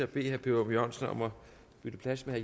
per ørum jørgensen om at bytte plads med